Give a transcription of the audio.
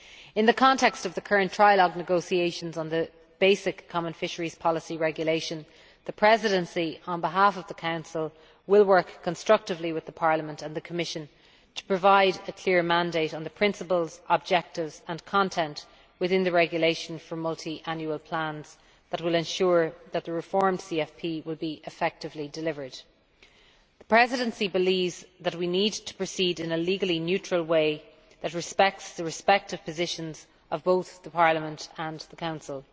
In the context of the current trilogue negotiations on the basic Common Fisheries Policy Regulation, the Presidency on behalf of the Council will work constructively with Parliament and the Commission to provide a clear mandate on the principles, objectives and content within the Regulation for Multiannual Plans that will ensure that the reformed CFP will be effectively delivered. The Presidency believes that we need to proceed in a legally neutral way that respects the respective positions of both Parliament and the Council.